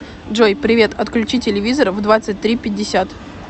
джой привет отключи телевизор в двадцать три пятьдесят